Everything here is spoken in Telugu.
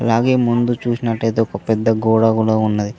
అలాగే ముందు చూసినట్టయితే ఒక పెద్ద గోడ ఉన్నది.